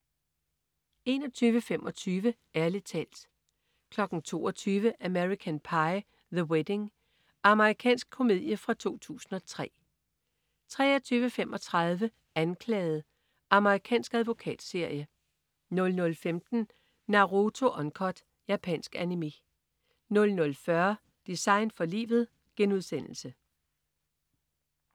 21.25 Ærlig talt 22.00 American Pie. The Wedding. Amerikansk komedie fra 2003 23.35 Anklaget. Amerikansk advokatserie 00.15 Naruto Uncut. Japansk Animé 00.40 Design for livet*